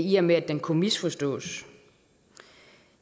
i og med at det kunne misforstås